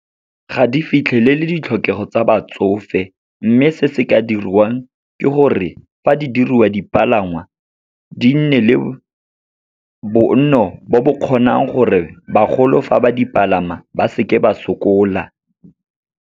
Ga di fitlhelele ditlhokego tsa batsofe. Mme se se ka dirwang ke gore fa di diriwa dipalangwa, di nne le bonno bo bo kgonang gore bagolo fa ba dipalama ba seke ba sokola.